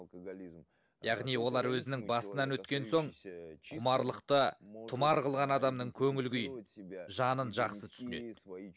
яғни олар өздері басынан өткен соң құмарлықты тұмар қылған адамның көңіл күйін жанын жақсы түсінеді